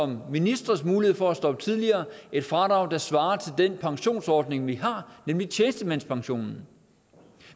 ministres mulighed for at stoppe tidligere et fradrag der svarer til den pensionsordning vi har nemlig tjenestemandspensionen